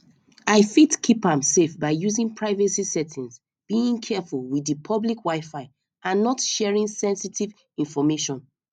i fit keep am safe by using privacy settings being careful with di public wifi and not sharing senstive information